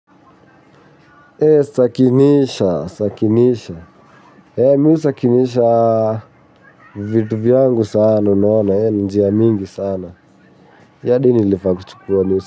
Sakinisha, sakinisha, mi husakinisha vitu vyangu sana unaona, ni njiya mingi sana. Yadi nilifaa kuchukuwa nisi.